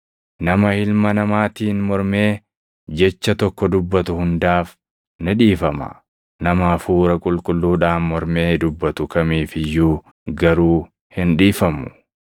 Nama Ilma Namaatiin mormee jecha tokko dubbatu hundaaf ni dhiifama; nama Hafuura Qulqulluudhaan mormee dubbatu kamiif iyyuu garuu hin dhiifamu.